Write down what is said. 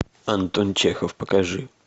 антон чехов покажи